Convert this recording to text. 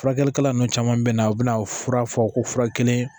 Furakɛlikɛla nunnu caman bɛ na u bɛna fura fɔ ko fura kelen